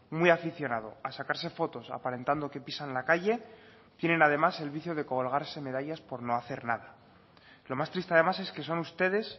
muy aficionado a sacarse fotos aparentando que pisan la calle tienen además el vicio de colgarse medallas por no hacer nada lo más triste además es que son ustedes